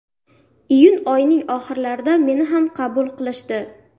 Iyun oyining oxirlarida meni ham qabul qilishdi.